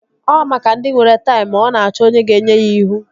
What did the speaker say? Ọ maka ndị nwere taim. Ọ na-achọ onye ga-enye ya ihu